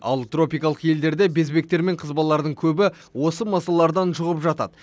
ал тропикалық елдерде безгектер мен қызбалардың көбі осы масалардан жұғып жатады